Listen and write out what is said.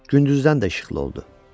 gündüzdən də işıqlı oldu.